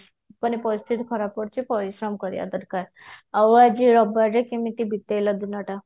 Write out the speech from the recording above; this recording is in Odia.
ମାନେ ପରିସ୍ଥିତି ଖରାପ ପଡିଛି ପରିଶ୍ରମ କରିବା ଦରକାର ଆଉ ଆଜି ରବିବାରେ କେମିତେ ବିତେଇଲେ ଦିନ ଟା